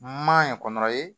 Maɲan kɔnɔ ye